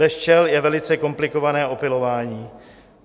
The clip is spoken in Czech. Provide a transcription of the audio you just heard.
Bez včel je velice komplikované opylování.